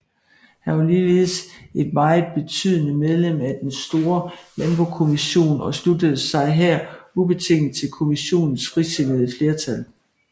Han var ligeledes et meget betydende medlem af Den Store Landbokommission og sluttede sig her ubetinget til Kommissionens frisindede flertal